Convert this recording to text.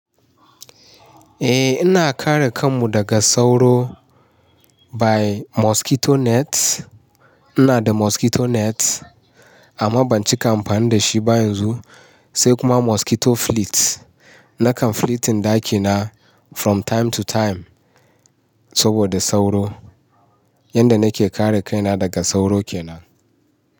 Eh ina kare kanmu daga sauro by mosquito net. Ina da mosquito net amma ban cika amfani da shi ba yanzu. Sai kuma mosquito flits. Nakan flitin ɗakina from time to time saboda sauro. Yanda nake kare kaina daga sauro kenan.